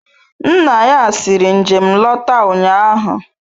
Nna ya siri njem lọta ụnyahụ.